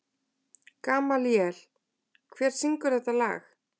Gamalíel, hver syngur þetta lag?